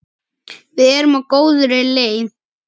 Við erum á góðri leið.